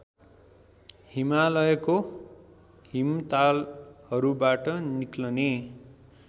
हिमालयको हिमतालहरूबाट निक्लने